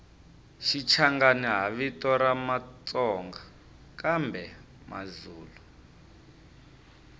shichangani hhavito ramatsonga kambemazulu